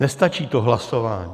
Nestačí to hlasování.